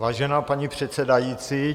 Vážená paní předsedající.